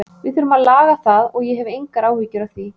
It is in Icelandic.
Við þurfum að laga það og ég hef engar áhyggjur af því.